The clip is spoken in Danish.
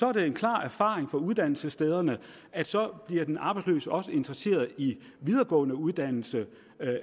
er det en klar erfaring fra uddannelsesstederne at så bliver den arbejdsløse også interesseret i videregående uddannelse